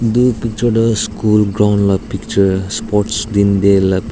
etu picture toh school ground la picture sports din te la.